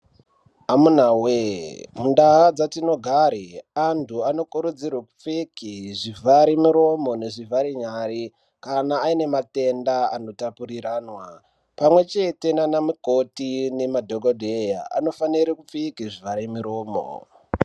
Amunawee mundaa dzatinogare antu anokurudzirwe kupfeke zvivharemiromo nezvivhare nyare kana aine matenda anotapuriranwa. Pamwechete naana mkoti nemadhogodheya anofanire kupfeke zvivhare miromo.